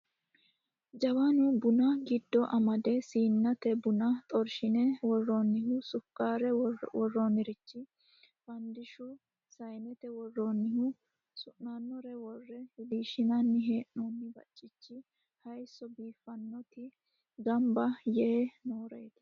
Jawwannu buna giddo amadde, siinnate buna xorrishshine worronnihu, suukkarre woranirichi, fanidishushu saayinnette woronnihu su'nanore worre wilishshinani heenoni baccichi haayisso biiffanoti gamibba Yee nooreti